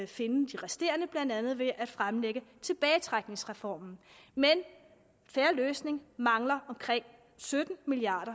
finde de resterende blandt andet ved at fremlægge tilbagetrækningsreformen men en fair løsning mangler omkring sytten milliard